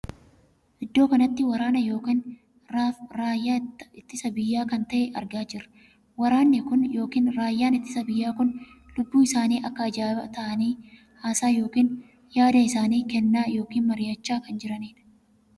Iddoo kanatti waraana ykn raaffaa itti biyyaa kan tahee argaa jiraam. waraanni kun ykn raaffaan ittisaa biyyaa kun lubbu isaanii akka ajaa'ibaatti taa'anii haasaa ykn yaada isaanii keennaa ykn mari'achaa kan jiranidh.